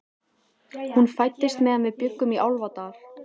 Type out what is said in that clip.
Hún fæddist meðan við bjuggum í Álfadal.